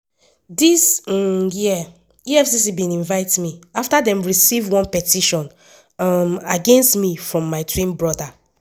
“dis um year efcc bin invite me afta dem receive one petition um against me from my twin brother.